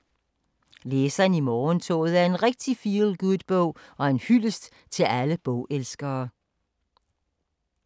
Læseren i morgentoget er en rigtig feel-good bog og en hyldest til alle bogelskere.